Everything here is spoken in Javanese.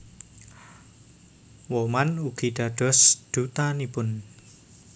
Woman ugi dados Dutanipun